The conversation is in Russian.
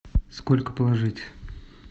сколько положить